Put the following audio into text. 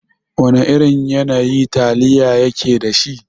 Wana irin yanayi taliya yake dashi?